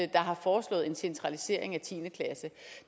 der har foreslået en centralisering af tiende klasse